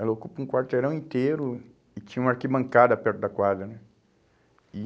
Ela ocupa um quarteirão inteiro e tinha uma arquibancada perto da quadra, né? E